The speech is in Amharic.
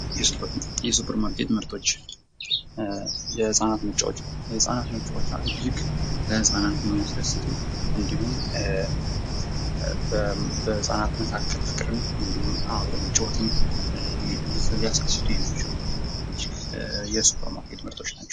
የሱፐርማርኬት ምርቶች ፦ የህፃናት መጫወቻ ፦ የህፃናት መጫወቻ እጅግ ህፃናትን የሚያስደስቱ እንዲሁም በህፃናት መካከል ፍቅርን እንዲሁም አብሮ መጫወትን ሊያስከስቱ የሚችሉ የሱፐርማርኬት ምርቶች ናቸው ።